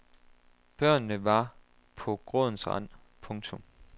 Børnene var på grådens rand. punktum